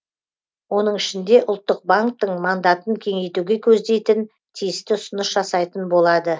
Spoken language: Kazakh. оның ішінде ұлттық банктің мандатын кеңейтуге көздейтін тиісті ұсыныс жасайтын болады